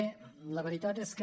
bé la veritat és que